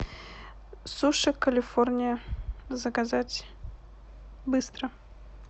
суши калифорния заказать быстро